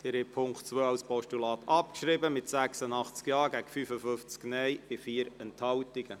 Sie haben den Punkt 2 als Postulat abgeschrieben mit 86 Ja- gegen 55 Nein-Stimmen bei 4 Enthaltungen.